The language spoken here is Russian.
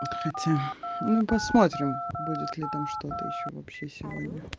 хотя ну посмотрим будет ли там что-то ещё вообще сегодня